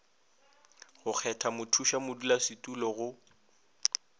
go kgetha mothuša modulasetulo go